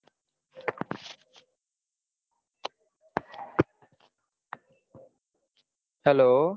hello